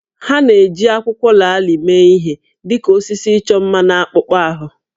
Ha na-eji akwụkwọ laalị mee ihe dị ka osisi ịchọ mma na akpụkpọ ahụ